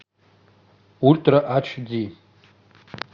ультра айч ди